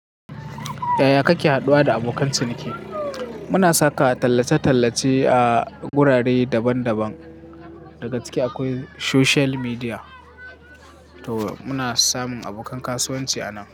Yaya kake haduwa da abokan ciniki? Muna saka tallace-tallace a wurare daban daban, daga ciki akwai social media, to muna samun abokan kasuwanci a nan.